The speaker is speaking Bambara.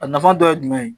A nafa dɔ ye jumɛn ye